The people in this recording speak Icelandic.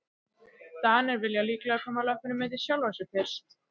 Danir vilja líklega koma löppunum undir sjálfa sig fyrst!